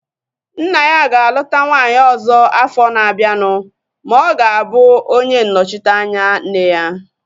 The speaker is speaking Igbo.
Nna ya ga-aluta nwaanyị ọzọ afọ na-abianu ma ọ ga-abụ onye nnọchiteanya nne ya